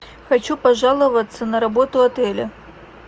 хочу пожаловаться на работу отеля